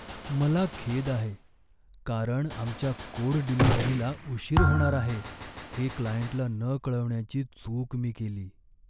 मला खेद आहे, कारण आमच्या कोड डिलिव्हरीला उशीर होणार आहे हे क्लायंटला न कळवण्याची चूक मी केली.